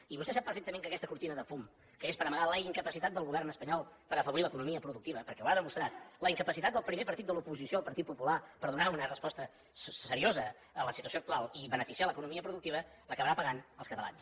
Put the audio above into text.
i vostè sap perfectament que aquesta cortina de fum que és per amagar la incapacitat del govern espanyol per afavorir l’economia productiva perquè ho ha demostrat la incapacitat del primer partit de l’oposició el partit popular per donar una resposta seriosa a la situació actual i beneficiar l’economia productiva l’acabaran pagant els catalans